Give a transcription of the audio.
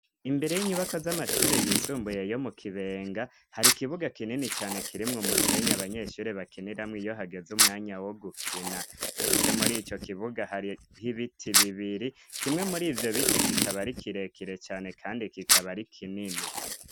Imbere z'inyubakwa z'amashuri yisumbuye yo mu Kibenga, hari ikibuga kinini cane kirimwo umusenyi abanyeshuri bakiniramwo iyo hageze umwanya wo gukina, ndetse muri ico kibuga hariho ibiti bibiri kimwe muri ivyo biti kikaba ari kirekire cane kandi kikaba ari kinini.